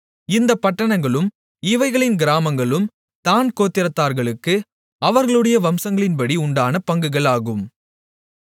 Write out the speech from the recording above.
இந்தப் பட்டணங்களும் இவைகளின் கிராமங்களும் தாண் கோத்திரத்தார்களுக்கு அவர்களுடைய வம்சங்களின்படி உண்டான பங்குகள் ஆகும்